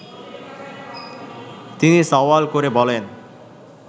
তিনি সওয়াল করে বলেন